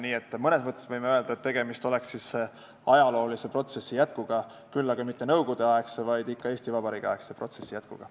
Nii et mõnes mõttes võime öelda, et tegemist oleks ajaloolise protsessi jätkuga, küll aga mitte nõukogudeaegse, vaid ikka Eesti Vabariigi aegse protsessi jätkuga.